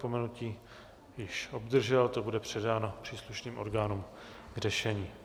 Napomenutí už obdržel, to bude předáno příslušným orgánům k řešení.